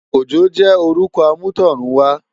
Ojo jè órùkò àmútọ̀runwá